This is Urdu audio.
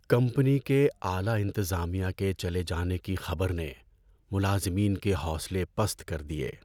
کمپنی کے اعلی انتظامیہ کے چلے جانے کی خبر نے ملازمین کے حوصلے پست کر دیے۔